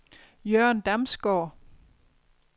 Jørgen Damsgaard